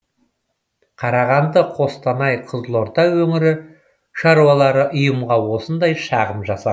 қарағанды қостанай қызылорда өңірі шаруалары ұйымға осындай шағым жасаған